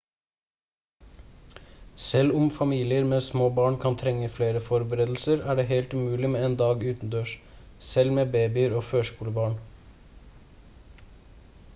selv om familier med små barn kan trenge flere forberedelser er det helt mulig med en dag utendørs selv med babyer og førskolebarn